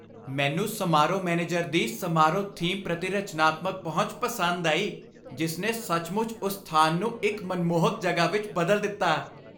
ਮੈਨੂੰ ਸਮਾਰੋਹ ਮੈਨੇਜਰ ਦੀ ਸਮਾਰੋਹ ਥੀਮ ਪ੍ਰਤੀ ਰਚਨਾਤਮਕ ਪਹੁੰਚ ਪਸੰਦ ਆਈ, ਜਿਸ ਨੇ ਸੱਚਮੁੱਚ ਉਸ ਸਥਾਨ ਨੂੰ ਇੱਕ ਮਨਮੋਹਕ ਜਗ੍ਹਾ ਵਿੱਚ ਬਦਲ ਦਿੱਤਾ।